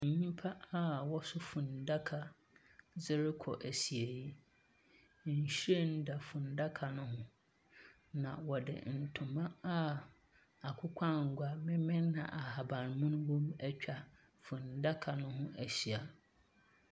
Nnipa a wɔso funuadaka de rekɔ asieɛ. Nhwiren da funuadaka no ho. Na wɔde ntoma a akokɔangoa, memen na ahabanmono etwa funuadaka no ho ahyia.